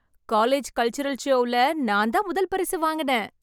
College cultural ஷோவுல நான் தான் முதல் பரிசு வாங்கினேன்.